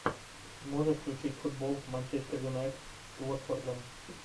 можешь включить футбол манчестер юнайтед с уотфордом